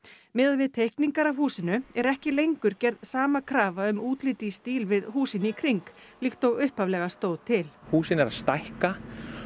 miðað við teikningar af húsinu er ekki lengur gerð sama krafa um útlit í stíl við húsin í kring líkt og upphaflega stóð til húsin eru að stækka